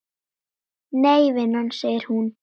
Nei vinan, segir hún.